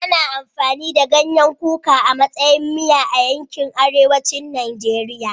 Ana amfani da ganyen kuka a matsayin miya a yankin arewacin Najeriya